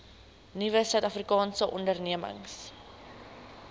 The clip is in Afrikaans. nuwe suidafrikaanse ondernemings